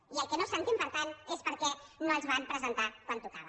i el que no s’entén per tant és per què no els van presentar quan tocava